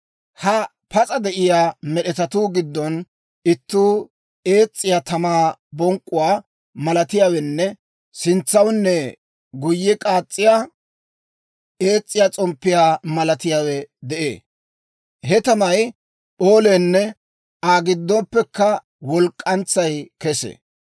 Ha pas'a de'iyaa med'etatuu giddon itti ees's'iyaa tamaa bonk'k'uwaa malatiyaawenne sintsawunne guyye k'aas's'iyaa, ees's'iyaa s'omppiyaa malatiyaawe de'ee; he tamay p'ooleenne Aa giddoppekka walk'k'antsay kesee.